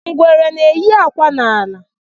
Ngwere na-eyi akwa n'ala.